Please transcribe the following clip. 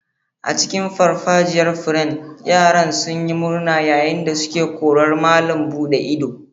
A cikin farfajiyar furen, yaran sun yi murna yayin da suke korar malam buɗe ido.